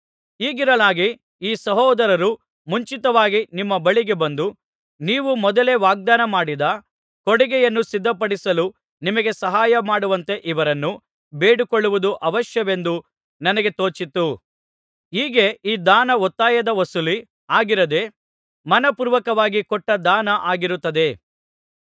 ಹೀಗಿರಲಾಗಿ ಈ ಸಹೋದರರು ಮುಂಚಿತವಾಗಿ ನಿಮ್ಮ ಬಳಿಗೆ ಬಂದು ನೀವು ಮೊದಲೇ ವಾಗ್ದಾನಮಾಡಿದ ಕೊಡುಗೆಯನ್ನು ಸಿದ್ಧಪಡಿಸಲು ನಿಮಗೆ ಸಹಾಯಮಾಡುವಂತೆ ಇವರನ್ನು ಬೇಡಿಕೊಳ್ಳುವುದು ಅವಶ್ಯವೆಂದು ನನಗೆ ತೋಚಿತು ಹೀಗೆ ಈ ದಾನ ಒತ್ತಾಯದ ವಸೂಲಿ ಆಗಿರದೆ ಮನಃಪೂರ್ವಕವಾಗಿ ಕೊಟ್ಟ ದಾನ ಆಗಿರುತ್ತದೆ